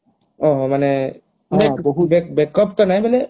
ଓଃ ହୋ ମାନେ backup ତ ନାହିଁ ବୋଇଲେ